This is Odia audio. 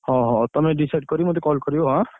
ହଁ ହଁ, ତମେ decide କରି ମତେ call କରିବ ଆଁ?